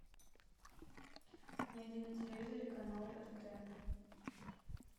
найди на телевизоре канал рт